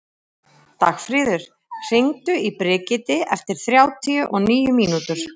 Dagfríður, hringdu í Brigiti eftir þrjátíu og níu mínútur.